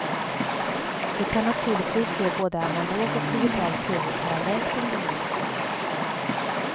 Du kan naturligtvis se både analog och digital tv parallellt om du vill.